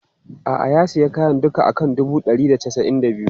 A'a, ya sayi kayan duka a kan dubu ɗari da casa'in da biyu.